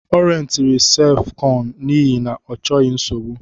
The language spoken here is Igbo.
Ọ rentịrị sef kọñ n'ihi na ọ chọghị nsogbu